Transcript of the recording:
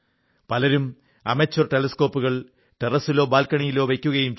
പലരും അമച്വർ ടെലസ്കോപ്പുകൾ ടെറസ്സിലോ ബാൽക്കണിയിലോ വയ്ക്കുകയും ചെയ്യുന്നു